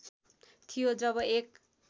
थियो जब एक